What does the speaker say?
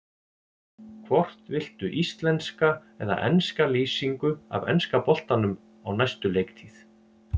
Hvort viltu íslenska eða enska lýsingu af enska boltanum á næstu leiktíð?